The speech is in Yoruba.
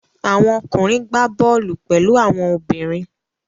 Àwọn okùnrin gbá bọ́ọ́lù pẹ̀lú àwọn obìnrin.